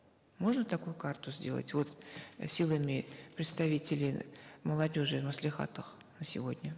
можно такую карту сделать вот силами представителей молодежи в маслихатах на сегодня